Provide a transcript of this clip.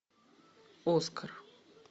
оскар